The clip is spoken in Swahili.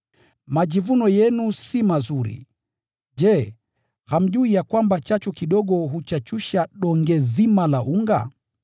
Majivuno yenu si mazuri. Je, hamjui ya kwamba chachu kidogo huchachusha donge zima la unga?